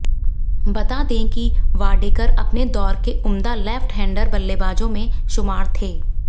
बता दें कि वाडेकर अपने दौर के उम्दा लेफ्ट हैंडर बल्लेबाजों में शुमार थे